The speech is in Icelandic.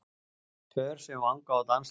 Pör sem vanga á dansleik.